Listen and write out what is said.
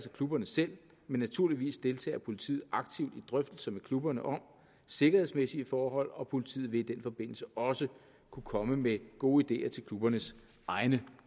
af klubberne selv men naturligvis deltager politiet aktivt i drøftelser med klubberne om sikkerhedsmæssige forhold og politiet vil i den forbindelse også kunne komme med gode ideer til klubbernes egne